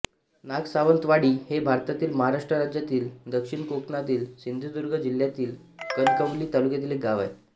नागसावंतवाडी हे भारतातील महाराष्ट्र राज्यातील दक्षिण कोकणातील सिंधुदुर्ग जिल्ह्यातील कणकवली तालुक्यातील एक गाव आहे